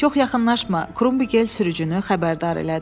Çox yaxınlaşma, Krumbigel sürücünü xəbərdar elədi.